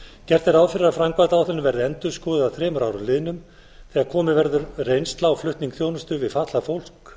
gert er ráð fyrir að framkvæmdaáætlunin verði endurskoðuð að þremur árum liðnum þegar komin verður reynsla á flutning þjónustu við fatlað fólk